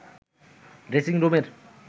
dressing রুমের